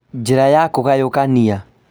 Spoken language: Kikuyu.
Njĩra ya kũgayũkania